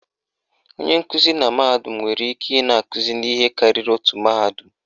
Onye nkụzi na mahadum nwere ike ị na-akụzi n'ihe karịrị otu mahadum